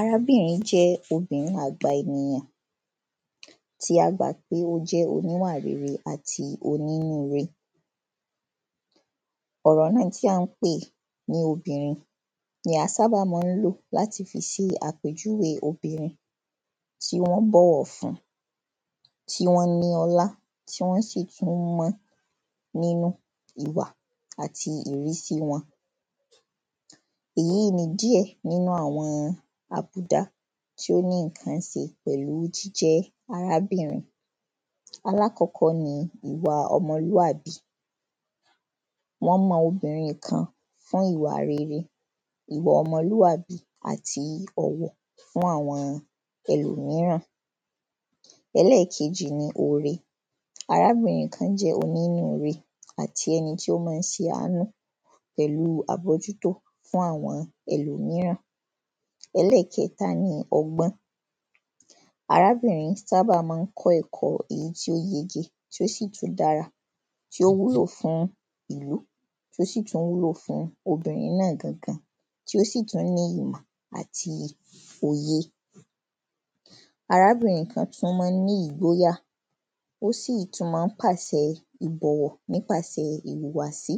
Arábìnrin jẹ́ óbinrín àgbà ènyàn tí a gbà pe o jẹ́ oníwà rere ati onínu re. ọ̀rọ̀ náa tí a n pè ni óbinrín ni a sá bà ma n lò láti fi ṣe àpèjúwe óbinrín tí wọn bọ wọ fun Tí wọn ní ọlá, tí wọn sì tún mọ́ nínú ìwà ati ìrísí wọn. Èyí ni díẹ nínú awọn àbùdá tí o ni nkan se pẹ̀lú jijẹ arábìnrin. Alakọkọ ní ìwà ọmọlúàbì. Wọn mọ óbinrín kan fún ìwà rere, ìwà ọmọlúàbì ati ọ̀wọ̀ fún awọn ẹlòmíràn. ẹlẹ́kejì ni oore. Arábìnrin kan jẹ́ onínu re ati ẹni ti o máa n ṣàánú pẹ̀lú àbọ́jútó fún awọn ẹlòmíràn. ẹlẹ́kẹ́ta ní ọgbọ́n. Arábìnrin sábà máa n kọ́ ẹ̀kọ́ èyí tí o yege, tí o si tun dára, tí o si tun wúlò fún ìlú, tí o si tun wúlò fún óbinrín náa gan gan, tí o si tun níyì mọ̀, ati òye. Arábìnrin kan tún má ni ́ igbóyà, o si tun má n pàṣẹ ìbọ̀wọ̀ ní páṣẹ ìwùwàsi,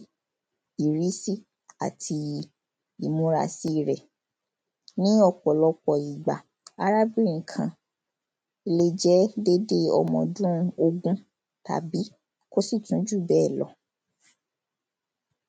ìrísí ati ìmúrasí rẹ̀. Ní ọ̀pọ̀lọpọ̀ ìgbà, arábìnrin kan lé jẹ dede ọmọdún ogún, tabi kosi tun ju bẹ lọ́.